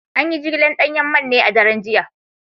An yi jigilar danyen man ne a daren jiya